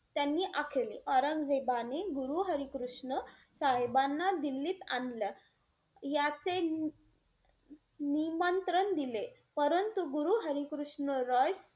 त्यांनी आखले. औरंगजेबाने गुरु हरी कृष्ण साहेबांना दिल्लीत आणलं याचे नि~ निमंत्रण दिले परंतु गुरु हरी कृष्ण रॉय,